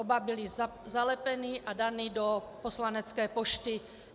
Oba byly zalepeny a dány do poslanecké pošty.